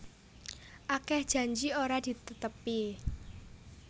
Akeh janji ora ditetepi